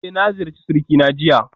Eh na ziyarci surikina jiya